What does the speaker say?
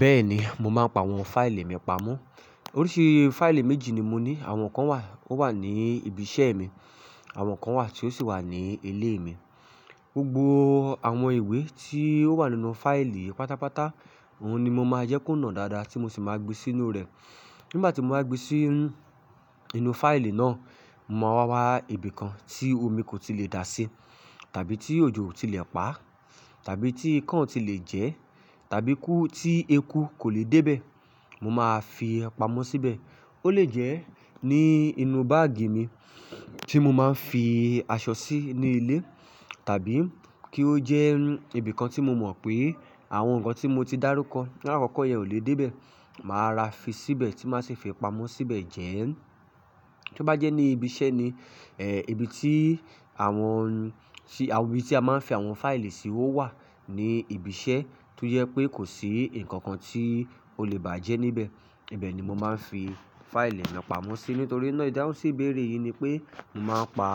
Bẹ́ẹ̀ni, mo máa ń pa àwọn fáìlì mi pamọ́. Oríṣi fáìlì méjì ni mo ní. Àwọn kan wà ó wà ní ibiṣẹ́ mi, àwọn kan wà tí ó sì wà ní ilé mi. Gbogbo àwọn ìwé tí ó wà nínú fáìlì pátápátá, òun ni mo máa jẹ́ kó nà dáadáa tí mo sì máa gbé sínú rẹ̀. Nígbà tí mo bá gbé sí inú fáìlì náà, mo máa wá wá ibìkan tí omi kò tí lè dà sí tàbí tí òjò kò tí lè pa tàbí tí ikán kò tí lè jẹ tàbí tí eku kò lè dé bẹ́ẹ̀, mo máa fi pamọ́ síbẹ̀. Ó lè jẹ́ ní inú báàgì mi tí mo máa ń fi aṣọ sí ní ilé tàbí kí ó jẹ́ ibìkan tí mo mọ̀ pé àwọn nǹkan tí mo ti dárúkọ, lára àkọ́kọ́ yẹn ò lè dé bẹ́ẹ̀, màá rà fi síbẹ̀ tí máa sì fi pamọ́ síbẹ̀ jẹ ẹ́. Tí ó bá jẹ́ ní ibiṣẹ́ ni, ibi tí àwọn, ibi tí a máa ń fi àwọn fáìlì sí o wà ní ibiṣẹ́ tó jẹ́ pé kò sí nǹkan kan tí ó lè bàjẹ́ níbẹ̀. Ibẹ̀ ni mo máa ń fi fáìlì mi pamọ́ sí, nítorí náà ìdáhùnsí ibéèrè yìí ni pé, mo máa ń pa